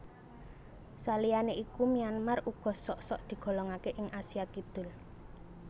Saliyané iku Myanmar uga sok sok digolongaké ing Asia Kidul